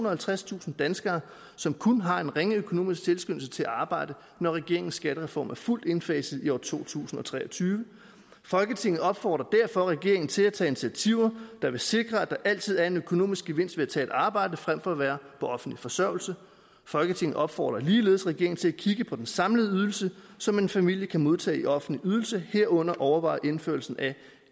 og halvtredstusind danskere som kun har en ringe økonomisk tilskyndelse til at arbejde når regeringens skattereform er fuldt indfaset i år to tusind og tre og tyve folketinget opfordrer derfor regeringen til at tage initiativer der vil sikre at der altid er en økonomisk gevinst ved at arbejde frem for at være på offentlig forsørgelse folketinget opfordrer ligeledes regeringen til at kigge på den samlede ydelse som en familie kan modtage i offentlige ydelser herunder overveje indførelsen af